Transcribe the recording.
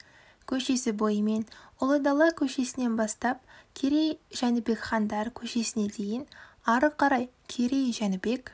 көшесі бойымен ұлы дала көшесінен бастап керей жәнібек хандар көшесіне дейін ары қарай керей жәнібек